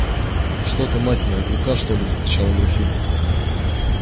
что ты мать моя глуха что ли закричала графиня